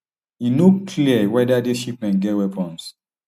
e no clear weda dis shipments get weapons